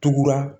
Tugura